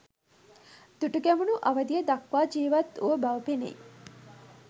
දුටුගැමුණු අවදිය දක්වා ජීවත් වූ බව පෙනෙයි